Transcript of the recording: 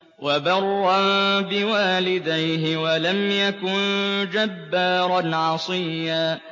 وَبَرًّا بِوَالِدَيْهِ وَلَمْ يَكُن جَبَّارًا عَصِيًّا